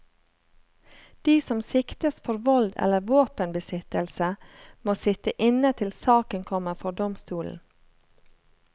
De som siktes for vold eller våpenbesittelse, må sitte inne til saken kommer for domstolen.